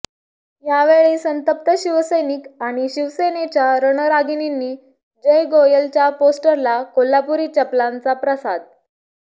यावेळी संतप्त शिवसैनिक आणि शिवसेनेच्या रणरागिणींनी जय गोयलच्या पोस्टरला कोल्हापूरी चपलांचा प्रसाद